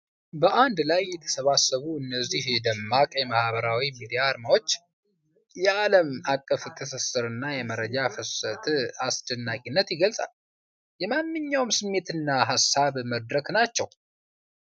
በአንድ ላይ የተሰባሰቡ እነዚህ ደማቅ የማኅበራዊ ሚዲያ አርማዎች የአለም አቀፍ ትስስርና የመረጃ ፍሰትን አስደናቂነት ይገልጻሉ። የማንኛውም ስሜትና ሀሳብ መድረክ ናቸው።